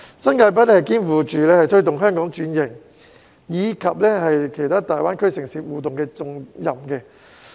新界北肩負推動香港轉型，以及與其他大灣區城市互動的重任。